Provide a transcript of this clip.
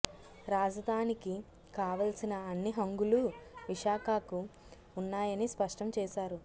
రాజధానికి కావల్సిన అన్ని హంగులూ విశాఖకు ఉన్నాయని స్పష్టం చేశారు